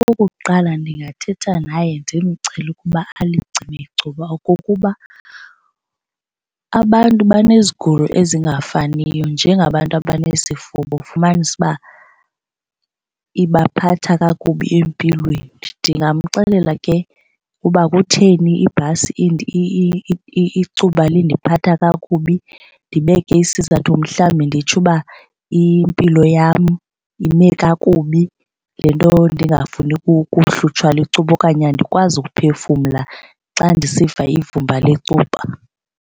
Okokuqala, ndingathetha naye ndimcele ukuba alicime icuba okokuba abantu bezigulo ezingafaniyo njengabantu abanesifuba ufumanise ibaphatha kakubi empilweni. Ndingamxelela ke uba kutheni ibhasi icuba lindiphatha kakubi, ndibeke isizathu mhlawumbi nditsho uba impilo yam ime kakubi le nto ndingafuni kuhlutshwa licuba okanye andikwazi kuphefumla xa ndisiva ivumba lecuba.